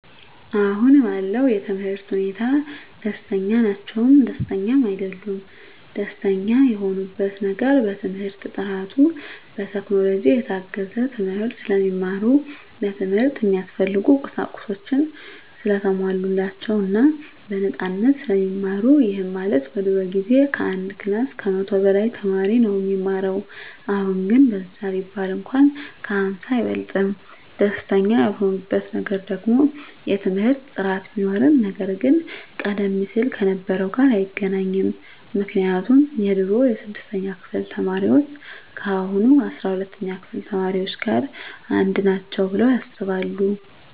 አሁን ባለው የትምህርት ሁኔታ ደስተኛ ናቸውም ደስተኛም አይደሉምም። ደስተኛ የሆኑበት ነገር በትምህርት ጥራቱ፣ በቴክኖሎጂ የታገዘ ትምህርት ስለሚማሩ፣ ለትምህርት እሚያስፈልጉ ቁሳቁሶች ሰለተሟሉላቸው እና በነፃነት ስለሚማሩ ይህም ማለት በድሮ ጊዜ ከአንድ ክላስ ከመቶ በላይ ተማሪ ነው እሚማረው አሁን ግን በዛ ቢባል እንኳን ከ ሃምሳ አይበልጥም። ደስተኛ ያልሆኑበት ነገር ደግሞ የትምህርት ጥራት ቢኖርም ነገር ግን ቀደም ሲል ከነበረው ጋር አይገናኝም ምክንያቱም የድሮ የስድስተኛ ክፍል ተማሪዎች ከአሁኖቹ አስራ ሁለተኛ ክፍል ተማሪዎች ጋር አንድ ናቸው ብለው ያስባሉ።